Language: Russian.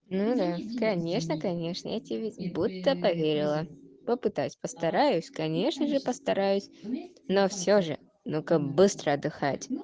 ну да конечно конечно я тебе будто поверила попытаюсь постараюсь конечно же постараюсь но всё же ну-ка быстро отдыхать